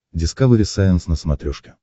дискавери сайенс на смотрешке